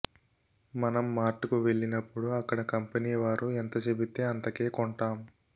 మనం మార్ట్ కు వెళ్ళినప్పుడు అక్కడ కంపెనీ వారు ఎంత చెబితే అంతకే కొంటాం